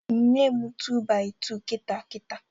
Nye m tu-baị-tu kita kita!